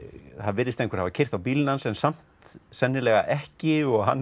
virðist einhver hafa keyrt á bílinn hans en samt sennilega ekki og hann